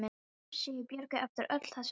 Þá fyrst sá ég Björgu eftir öll þessi ár.